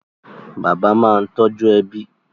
Bàbá máa ń tọ́jú ẹbí